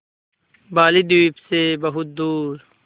बालीद्वीप सें बहुत दूर